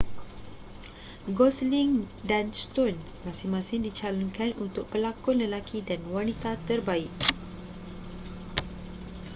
gosling dan stone masing-masing dicalonkan untuk pelakon lelaki dan wanita terbaik